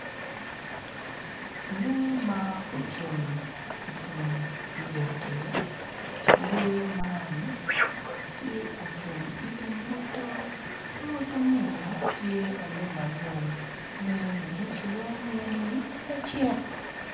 Lee ma ocung idi lyekki lee man tye ocung i di mwoto mwoto ni tye alumalum lee ni kilwongo nyinge ni lacek.